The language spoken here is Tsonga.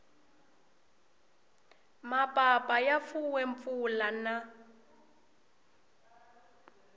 mapapa ya fuwe mpfula na